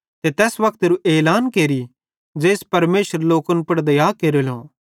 ते तैस वक्तेरू एलान केरि ज़ेइस परमेशरे लोकन पुड़ दया केरेलो